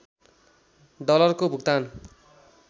डलरको भुक्तान